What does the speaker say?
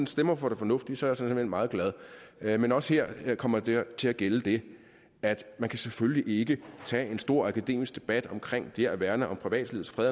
stemmer for det fornuftige er jeg såmænd meget glad men også her kommer der til at gælde det at man selvfølgelig ikke kan tage en stor akademisk debat omkring det at værne om privatlivets fred